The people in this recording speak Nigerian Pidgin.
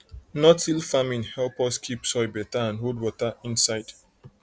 notill farming help us keep soil better and hold water inside